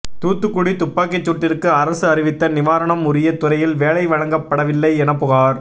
தூத்துக்குடி துப்பாக்கிசூட்டிற்கு அரசு அறிவித்த நிவாரணம் உரிய துறையில் வேலை வழங்கப்படவில்லை என புகார்